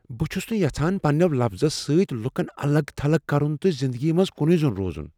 بہٕ چھس نہٕ یژھان پنٛنیو لفظو سۭتۍ لکن الگ تھلگ کرن تہٕ زندگی منٛز کُنُے زوٚن روزن۔